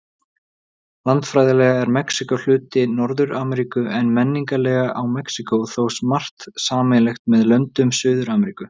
Landfræðilega er Mexíkó hluti Norður-Ameríku, en menningarlega á Mexíkó þó margt sameiginlegt með löndum Suður-Ameríku.